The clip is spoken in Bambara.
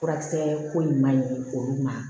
Furakisɛ ko in ma ɲi olu ma